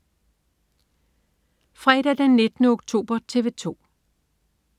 Fredag den 19. oktober - TV 2: